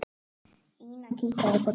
Ína kinkaði kolli.